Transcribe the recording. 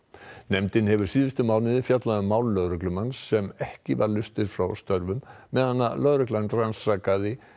nefndin hefur síðustu mánuði fjallað um mál lögreglumanns sem ekki leystur frá störfum meðan lögreglan rannsakaði